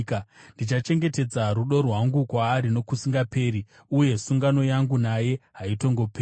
Ndichachengetedza rudo rwangu kwaari nokusingaperi, uye sungano yangu naye haitongoperi.